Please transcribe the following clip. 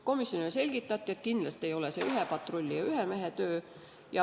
Komisjonile selgitati, et kindlasti ei ole see ühe patrulli ja ühe mehe töö.